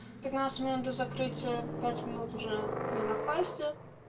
пятнадцать минут до закрытия пять минут уже я на кассе